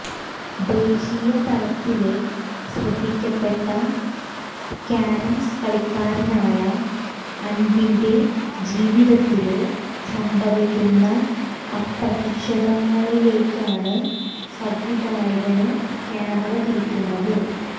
ദേശീയ തലത്തില് ശ്രദ്ധിക്കപ്പെട്ട കാരംസ് കളിക്കാരനായ അന്പിന്റെ ജീവിതത്തില് സംഭവിക്കുന്ന അപ്രതീക്ഷിതത്വങ്ങളിലേക്കാണ് സംവിധായകന് ക്യാമറ തിരിയ്ക്കുന്നത്